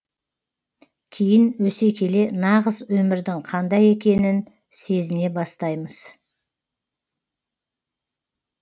кейін өсе келе нағыз өмірдің қандай екенін сезіне бастаймыз